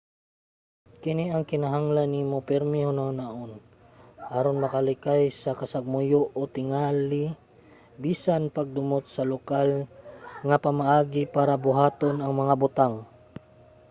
kini ang kinahanglan nimo pirmi hunahunaon aron makalikay sa kasagmuyo o tingali bisan ang pagdumot sa lokal nga mga pamaagi para buhaton ang mga butang